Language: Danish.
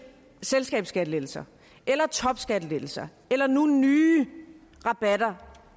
selskabsskattelettelser eller topskattelettelser eller nu nye rabatter